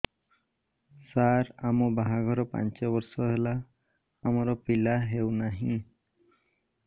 ସାର ଆମ ବାହା ଘର ପାଞ୍ଚ ବର୍ଷ ହେଲା ଆମର ପିଲା ହେଉନାହିଁ